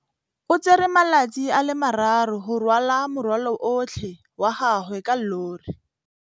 O tsere malatsi a le marraro go rwala morwalo otlhe wa gagwe ka llori.